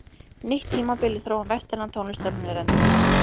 nýtt tímabil í þróun vestrænnar tónlistar muni renna upp